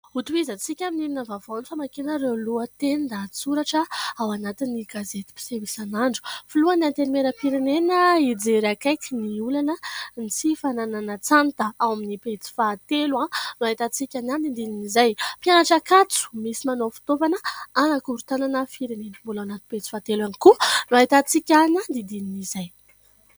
Hotohizantsika amin' ny ino vaovao ny famakiana ireo lohatenin-dahatsoratra ao anatin' ny gazety miseho isanandro filohan' ny antenimieram-pirenena hijery akaiky ny olana sy ny fananan-tsata, ao amin' ny pejy fahatelo ao no ahitantsika ny amin' ny andinindinin' izay. Mpianatra Ankatso misy manao fitaovana anakorontanana firenena, mbola ao anatin' ny pejy fahatelo ihany koa no ahitantsika ny andinindinin' izay.